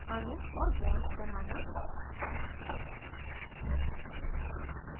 अणु और bonds बनाना